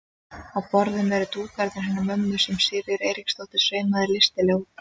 Og á borðum eru dúkarnir hennar mömmu sem Sigríður Eiríksdóttir saumaði listilega út.